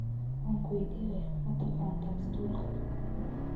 Ankuweydiyex, mataqantaa stoolka ?